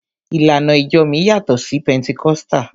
Ìlànà ìjọ mi yàtọ̀ sí Pẹntikọ́sítà.